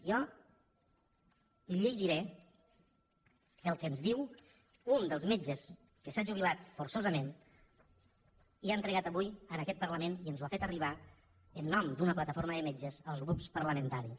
jo li llegiré el que ens diu un dels metges que s’ha jubilat forçosament i que ho ha entregat avui en aquest parlament i ens ho ha fet arribar en nom d’una plataforma de metges als grups parlamentaris